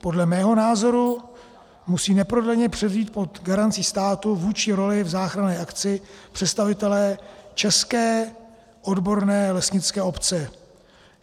Podle mého názoru musí neprodleně převzít pod garancí státu vůdčí roli v záchranné akci představitelé české odborné lesnické obce.